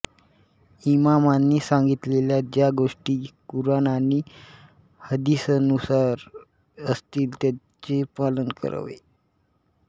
इमामांनी सांगितलेल्या ज्या गोष्टी कुराण आणि हदीसनुसार असतील त्यांचे पालन करावे